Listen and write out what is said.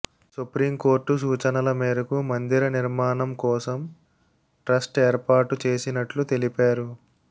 supreme court సూచనల మేరకు మందిర నిర్మాణం కోసం ట్రస్ట్ ఏర్పాటు చేసినట్లు తెలిపారు